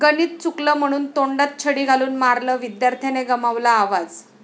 गणित चुकलं म्हणून तोंडात छडी घालून मारलं, विद्यार्थ्याने गमावला आवाज!